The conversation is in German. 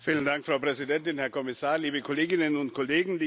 Frau Präsidentin, Herr Kommissar, liebe Kolleginnen und Kollegen!